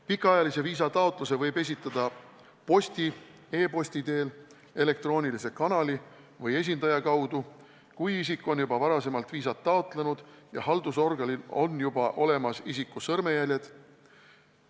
Pikaajalise viisa taotluse võib esitada posti või e-posti teel, elektroonilise kanali või esindaja kaudu, juhul kui isik on juba varem viisat taotlenud ja haldusorganil on isiku sõrmejäljed olemas.